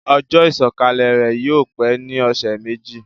Ojó ìsòkalè rè yio pe ni òsé méjì